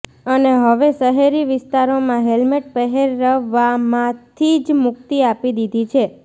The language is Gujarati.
અને હવે શહેરી વિસ્તારોમાં હેલ્મેટ પહેરવામાંથી જ મુક્તિ આપી દીધી છે